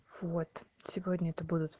вот сегодня это будут